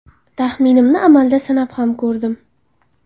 Taxminimni amalda sinab ham ko‘rdim.